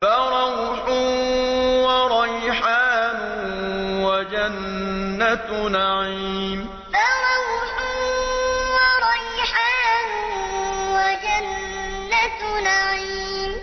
فَرَوْحٌ وَرَيْحَانٌ وَجَنَّتُ نَعِيمٍ فَرَوْحٌ وَرَيْحَانٌ وَجَنَّتُ نَعِيمٍ